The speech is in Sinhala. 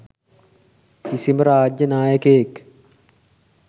කිසිම රාජ්‍ය නායකයෙක්